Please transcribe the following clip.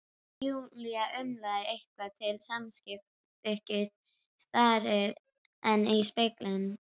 Júlía umlar eitthvað til samþykkis, starir enn í spegilinn.